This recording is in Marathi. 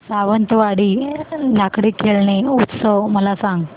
सावंतवाडी लाकडी खेळणी उत्सव मला सांग